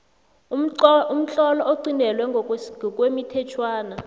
umtlolo oqintelwe ngokwemithetjhwana